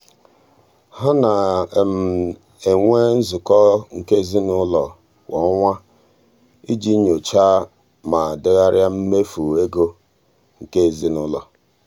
ha na-enwe nzukọ nke ezinụụlọ kwa ọnwa iji nyochaa ma degharịa mmefu ego nke ezinụụlọ.